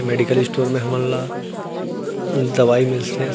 Medical store हमनला दवाई मिलथे।